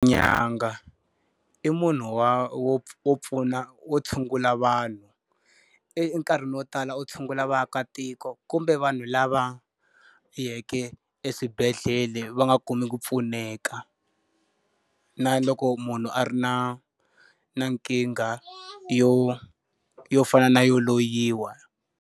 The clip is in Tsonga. N'anga i munhu wa wo wo pfuna wo tshungula vanhu. E enkarhini wo tala u tshungula vaakatiko kumbe vanhu lava yeke eswibedhlele va nga kumi ku pfuneka. Na loko munhu a ri na na nkingha yo yo fana na yo loyiwa.